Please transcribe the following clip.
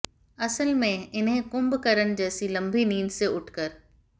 असल में इन्हें कुंभकर्ण जैसी लम्बी नींद से उठकर